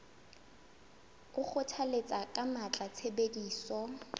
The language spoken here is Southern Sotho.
o kgothalletsa ka matla tshebediso